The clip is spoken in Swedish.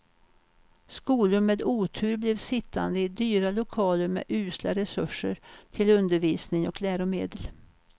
Skolor med otur blev sittande i dyra lokaler med usla resurser till undervisning och läromedel.